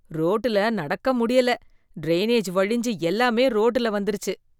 ரோட்டுல நடக்க முடியல, டிரைனேஜ் வழிஞ்சு எல்லாமே ரோட்டுல வந்திருச்சு.